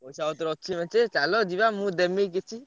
ପଇସା ପତ୍ର ଅଛି ମେଞ୍ଚେ ଚାଲ ମୁଁ ଦେମି କିଛି।